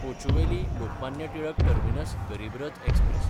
Kochuveli-Lokmanya Tilak terminus गरीब रथ express